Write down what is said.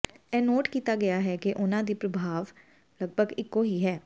ਇਹ ਨੋਟ ਕੀਤਾ ਗਿਆ ਹੈ ਕਿ ਉਹਨਾਂ ਦੀ ਪ੍ਰਭਾਵ ਲਗਭਗ ਇਕੋ ਹੀ ਹੈ